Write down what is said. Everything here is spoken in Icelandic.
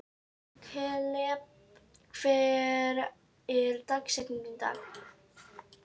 Kaleb, hver er dagsetningin í dag?